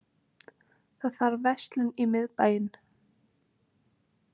Það þarf verslun í miðbæinn.